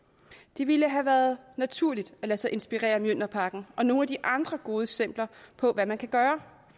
det ville have været naturligt at lade sig inspirere af mjølnerparken og nogle af de andre gode eksempler på hvad man kan gøre